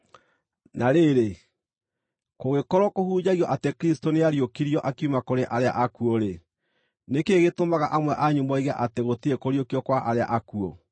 Na rĩrĩ, kũngĩkorwo kũhunjagio atĩ Kristũ nĩariũkirio akiuma kũrĩ arĩa akuũ-rĩ, nĩ kĩĩ gĩtũmaga amwe anyu moige atĩ gũtirĩ kũriũkio kwa arĩa akuũ?